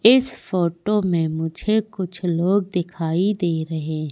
इस फोटो में मुझे कुछ लोग दिखाई दे रहे--